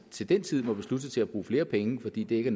til den tid må beslutte sig til at bruge flere penge fordi det ikke